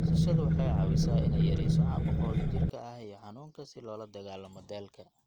Nasashadu waxay caawisaa inay yarayso caabuqa wadajirka ah iyo xanuunka iyo si loola dagaallamo daalka.